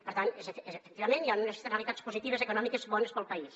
per tant efectivament hi han unes externalitats positives econòmiques bones per al país